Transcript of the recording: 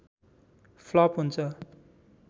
flop हुन्छ